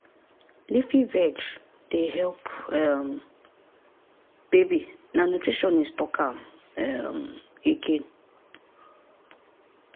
leafy veg dey help um baby na nutritionist talk am um again.